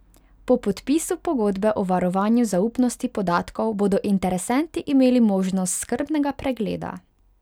Po podpisu pogodbe o varovanju zaupnosti podatkov bodo interesenti imeli možnost skrbnega pregleda.